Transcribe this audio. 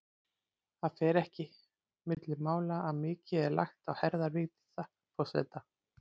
Það fer ekki milli mála að mikið er lagt á herðar Vigdísi forseta.